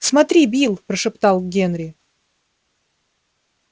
смотри билл прошептал генри